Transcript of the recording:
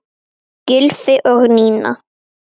Maki, Ingi Þór.